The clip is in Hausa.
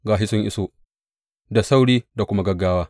Ga shi sun iso, da sauri da kuma gaggawa!